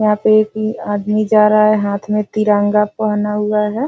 यहां पे एक ही आदमी जा रहा है हाथ में तिरंगा पहना हुआ है।